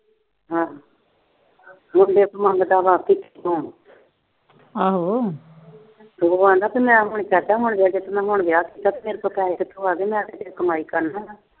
ਕੁੜੀ ਤੋਂ ਮੰਗਦਾ ਕਿਉਂ ਕੁੜੀ ਨੂੰ ਆਖਦਾ ਕਿ ਮੈਂ ਹੁਣੇ ਵਿਆਹ ਕੀਤਾ ਤੇ ਮੇਰੇ ਕੋਲੋਂ ਪੈਸੇ ਕਿੱਥੋਂ ਆਏ, ਮੈਂ ਕਿਤੇ ਕਮਾਈ ਕਰਨ ਦਈ ਆ।